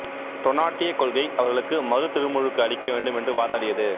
டொனாட்டியக் கொள்கை அவர்களுக்கு மறுதிருமுழுக்கு அளிக்க வேண்டும் என்று வாதாடியது